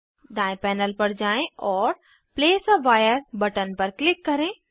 दायें पैनल पर जाएँ और प्लेस आ wireबटन पर क्लिक करें